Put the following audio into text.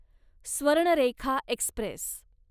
Swarnarekha Express